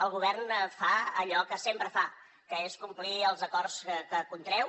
el govern fa allò que sempre fa que és complir els acords que contreu